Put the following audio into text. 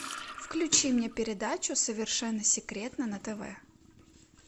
включи мне передачу совершенно секретно на тв